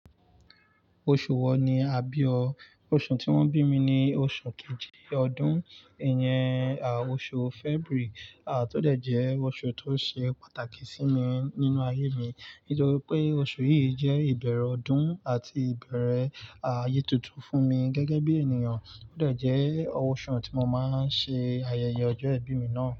Oṣù wo ni a bí o? Oṣù tí wón bí mi ni oṣù kejì ọdún, ìyẹn, à, oṣù February, à, tó dẹ̀ jẹ́ oṣù tó ṣe pàtàkì sí mi nínú ayé mi nítorí pé oṣù yìí jẹ́ ìbẹ̀rẹ̀ ọdún àti ìbẹ̀rẹ̀, à, ayé tuntun fún mi gẹ́gẹ́ bí ènìyàn. Ó dẹ̀ jẹ́ ọṣù tí mo máa ń ṣe ayẹyẹ ọjọ́ ìbí mi náà.